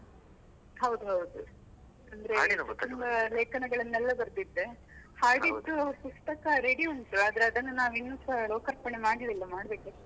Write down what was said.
ಹೌದು ಹೌದು, ತುಂಬಾ ಲೇಖನಗಳನ್ನೆಲ್ಲ ಬರ್ದಿದ್ದೆ, ಪುಸ್ತಕ ready ಉಂಟು, ಆದರೆ ಅದನ್ನ ನಾವು ಇನ್ನುಸ ಲೋಕಾರ್ಪಣೆ ಮಾಡ್ಲಿಲ್ಲ ಮಾಡಬೇಕಷ್ಟೆ.